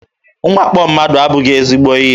Mwakpo mmadụ abụghị ezigbo ihe.